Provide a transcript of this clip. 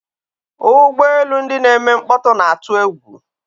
Ụgbọ elu ndị na-eme mkpọtụ na-atụ egwu.